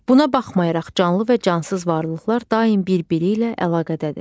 Buna baxmayaraq canlı və cansız varlıqlar daim bir-biri ilə əlaqədədir.